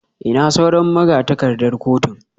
Ina sauran magatakardar kotun?